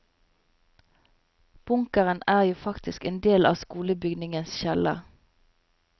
Bunkeren er jo faktisk en del av skolebygningens kjeller.